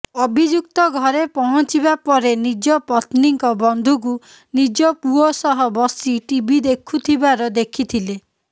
ଅଭିଯୁକ୍ତ ଘରେ ପହଞ୍ଚିବା ପରେ ନିଜ ପତ୍ନୀଙ୍କ ବନ୍ଧୁକୁ ନିଜ ପୁଅ ସହ ବସି ଟିଭି ଦେଖୁଥିବାର ଦେଖିଥିଲେ